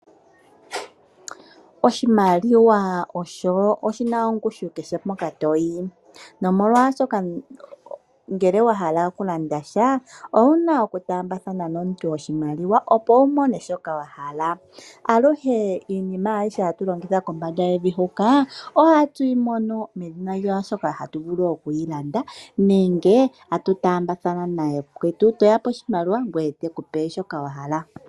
Oshimaliwa osho shina ongushu kehe mpoka toyi, nomolwaashoka ngele wa hala oku landa sha owu na oku taambathana nomuntu oshimaliwa, opo wu mone shoka wa hala. Aluhe iinima ayihe hatu longitha kombanda yevi huka, ohatu yi mono medhina lyaashoka hatu vulu oku yi landa nenge tatu taambathana nayakwetu, to yape oshimaliwa ngoye te ku pe shoka wa hala.